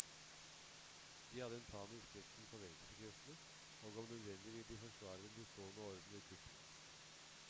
De hadde en panisk redsel for venstrekreftene, og om nødvendig ville de forsvare den bestående orden ved kupp.